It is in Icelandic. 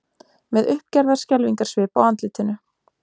Með uppgerðar skelfingarsvip á andlitinu.